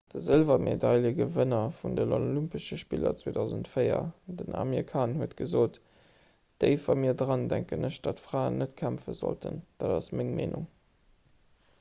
de sëlwermedailegewënner vun den olympesche spiller 2004 den amir khan huet gesot déif a mir dran denken ech datt fraen net kämpfe sollten dat ass meng meenung